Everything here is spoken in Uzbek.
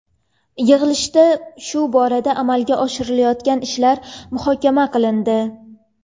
Yig‘ilishda shu borada amalga oshirilayotgan ishlar muhokama qilindi.